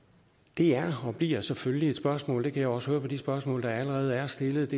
det er og bliver selvfølgelig et spørgsmål det kan jeg også høre på de spørgsmål der allerede er stillet